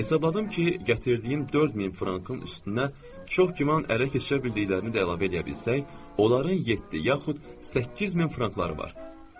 Hesabladım ki, gətirdiyim 4000 frankın üstünə çox güman ələ keçirə bildiklərini də əlavə eləyə bilsək, onların yeddi yaxud 8000 frankları var.